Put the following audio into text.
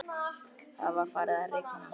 Það var farið að rigna.